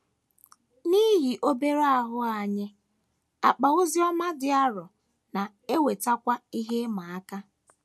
N’ihi obere ahụ anyị, akpa oziọma dị arọ na - ewetakwu ihe ịma aka.